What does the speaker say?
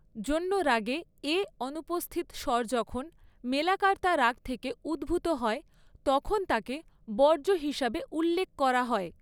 ‘জন্য রাগে’ এ অনুপস্থিত স্বর যখন মেলাকার্তা রাগ থেকে উদ্ভূত হয় তখন তাকে ‘বর্জ্য’ হিসাবে উল্লেখ করা হয়।